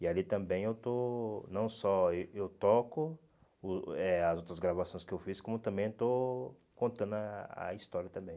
E ali também eu estou, não só eh eu toco o eh as outras gravações que eu fiz, como também estou contando a a história também.